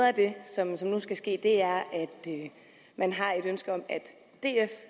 af det som som nu skal ske er at man har et ønske om at df